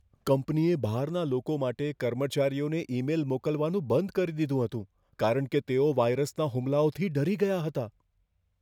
કંપનીએ બહારના લોકોને કર્મચારીઓને ઈમેલ મોકલવાનું બંધ કરી દીધું હતું, કારણ કે તેઓ વાયરસના હુમલાઓથી ડરી ગયા હતા.